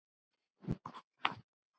Leikur að orðum svarar hann.